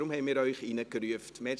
Deshalb haben wir Sie hereingerufen.